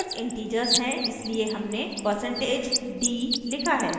records integers हैं इसलिए हमने % d लिखा है